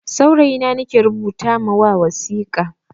Saurayi na nake rubuta ma wasika.